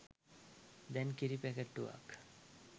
දැන් කිරි පැකැට්ටුවක්